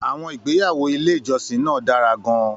Àwọn ìgbéyàwó ilé ìjọsìn náà dára gan-an.